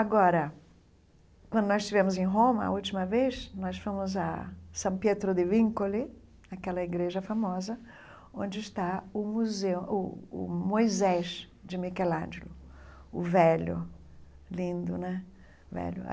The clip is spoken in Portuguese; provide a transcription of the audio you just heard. Agora, quando nós estivemos em Roma, a última vez, nós fomos a San Pietro di Vincoli, aquela igreja famosa, onde está o museu o o Moisés de Michelangelo, o velho, lindo, né? velho